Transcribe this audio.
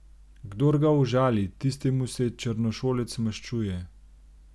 Kdor ga užali, tistemu se črnošolec maščuje.